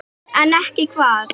En ekki hvað?